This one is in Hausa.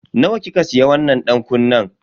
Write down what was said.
Nawa kika siya wannan dankunnen?